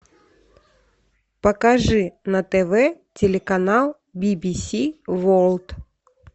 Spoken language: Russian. покажи на тв телеканал бибиси ворлд